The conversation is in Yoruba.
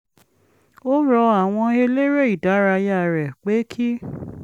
ó rọ àwọn eléré ìdárayá rẹ̀ pé kí